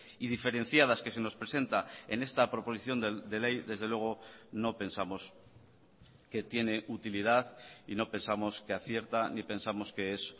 y diferenciadas que se nos presenta en esta proposición de ley desde luego no pensamos que tiene utilidad y no pensamos que acierta ni pensamos que es